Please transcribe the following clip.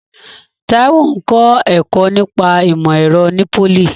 Taiwo ń kọ́ ẹ̀kọ́ nípa ìmọ̀ ẹ̀rọ ní pólì.